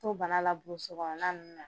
To bana la burusi kɔnɔna ninnu na.